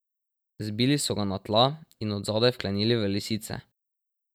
Zbili so ga na tla in od zadaj vklenili v lisice.